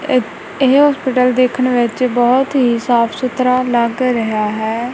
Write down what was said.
ਇਹ ਇਹ ਹੌਸਪੀਟਲ ਦੇਖਣ ਵਿੱਚ ਬਹੁਤ ਹੀ ਸਾਫ ਸੁਥਰਾ ਲੱਗ ਰਿਹਾ ਹੈ।